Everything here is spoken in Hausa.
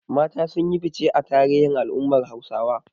Mata sun yi fice a tarihin al’ummar Hausawa.